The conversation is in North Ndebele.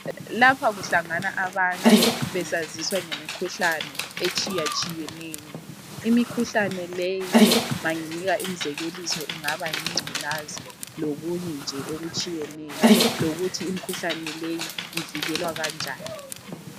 Lapha kuhlangana abantu besaziswa ngemikhuhlane etshiyatshiyeneyo. Imikhuhlane leyi manginika imizekeliso ingaba yingculaza lokunye nje okutshiyeneyo lokuthi imikhuhlane leyi ivikelwa kanjani.